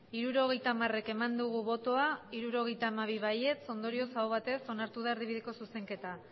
hirurogeita hamar bai hirurogeita hamabi ondorioz aho batez onartu da erdibideko zuzenketa